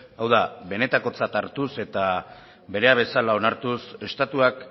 hau da benetakotzat hartuz eta berea bezala onartuz estatuak